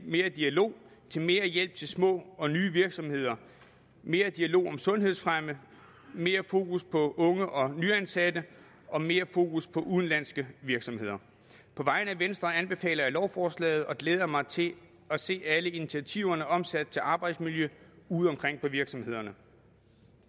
mere dialog til mere hjælp til små og nye virksomheder mere dialog om sundhedsfremme mere fokus på unge og nyansatte og mere fokus på udenlandske virksomheder på vegne af venstre anbefaler jeg lovforslaget og glæder mig til at se alle initiativerne omsat til arbejdsmiljøet ude omkring på virksomhederne